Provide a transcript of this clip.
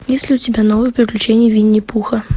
есть ли у тебя новые приключения винни пуха